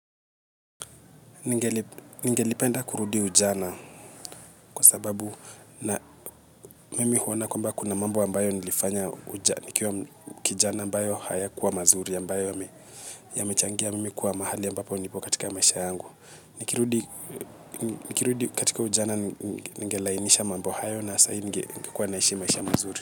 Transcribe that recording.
Ningelipenda kurudia ujana kwa sababu mimi huwa naona kwamba kuna mambo ambayo nilifanya nikiwa kijana ambayo hayakuwa mazuri ambayo yamechangia mimi kuwa mahali ambapo nipo katika maisha yangu. Nikirudi katika ujana ningelainisha mambo hayo na sai ningekuwa naishi maisha mazuri.